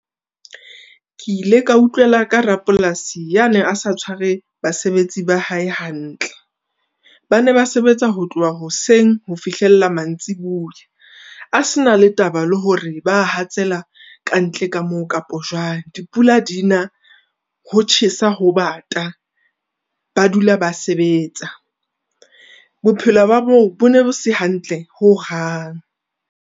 Ke ile ka utlwela ka rapolasi ya neng a sa tshware basebetsi ba hae hantle. Ba ne ba sebetsa ho tloha hoseng ho fihlella mantsibuya. A se na le taba le hore ba hatsela kantle ka moo kapa jwang. Dipula di na, ho tjhesa, ho bata, ba dula ba sebetsa, bophelo ba moo bo ne bo se hantle ho hang.